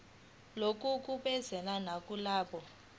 lokhu kusebenza nakulabo